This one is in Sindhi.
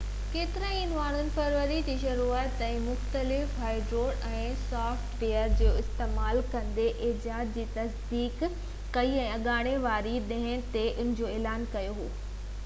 ڪيترن ئي ماڻھن فيبروري جي شروعات تائين مختلف ھارڊويئر ۽ سافٽ ويئر جو استعمال ڪندي ايجاد جي تصديق ڪئي ۽ اڱاري واري ڏينهن تي ان جو اعلان ڪيو ويو هو